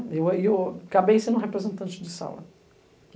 E eu acabei sendo representante de sala.